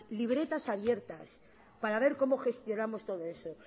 libretas abiertas para ver cómo gestionamos todo eso